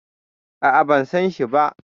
A'a, ban sanshi ba.